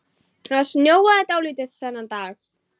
Það snjóaði dálítið þennan dag.